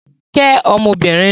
Kẹ́ ọmọbìnrin náà!